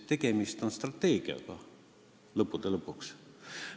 Tegemist on lõppude lõpuks strateegiaga.